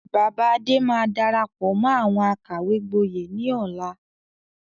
Bàbá Adé máa darapọ̀ mọ́ àwọn àkàwé gboyè ni ọ̀la.